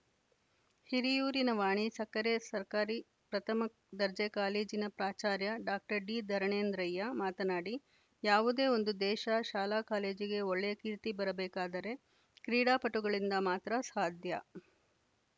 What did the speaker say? ಹಿರಿಯೂರಿನ ವಾಣಿ ಸಕ್ಕರೆ ಸರ್ಕಾರಿ ಪ್ರಥಮ ದರ್ಜೆ ಕಾಲೇಜಿನ ಪ್ರಾಚಾರ್ಯ ಡಾಕ್ಟರ್ ಡಿಧರಣೇಂದ್ರಯ್ಯ ಮಾತನಾಡಿ ಯಾವುದೇ ಒಂದು ದೇಶ ಶಾಲಾಕಾಲೇಜಿಗೆ ಒಳ್ಳೆಯ ಕೀರ್ತಿ ಬರಬೇಕಾದರೆ ಕ್ರೀಡಾಪಟುಗಳಿಂದ ಮಾತ್ರ ಸಾಧ್ಯ